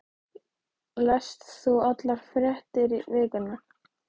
Lest þú allar fréttir vikunnar?